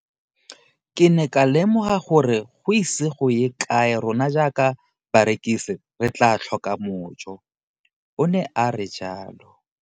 Ke ne ka lemoga gore go ise go ye kae rona jaaka barekise re tla tlhoka mojo, o ne a re jalo.